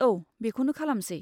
औ, बेखौनो खालामसै।